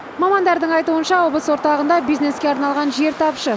мамандардың айтуынша облыс орталығында бизнеске арналған жер тапшы